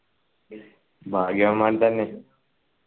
ഭാഗ്യവാന്മാർ തന്നെ